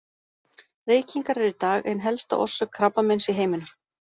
Reykingar eru í dag ein helsta orsök krabbameins í heiminum.